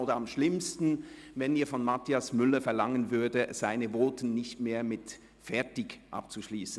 Oder am schlimmsten wäre es, wenn Sie von Grossrat Mathias Müller verlangten, seine Voten nicht mehr mit «fertig» abzuschliessen.